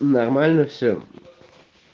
нормально все